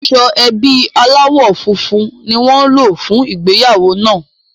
Aṣọ ẹbí aláwọ̀ funfun ni wọ́n lò fún ìgbéyàwó náà